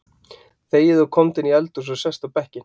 Þegiðu og komdu inn í eldhús og sestu upp á bekkinn.